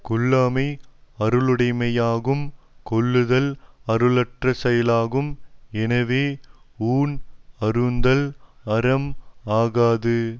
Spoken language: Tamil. கொல்லாமை அருளுடைமையாகும் கொல்லுதல் அருளற்ற செயலாகும் எனவே ஊன் அருந்துதல் அறம் ஆகாது